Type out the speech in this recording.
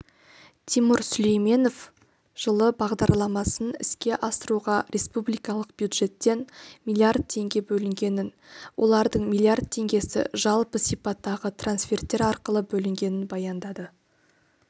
тимур сүлейменов жылы бағдарламасын іске асыруға республикалық бюджеттен миллиард теңге бөлінгенін олардың миллиард теңгесі жалпы сипаттағы трансферттер арқылы бөлінгенін баяндады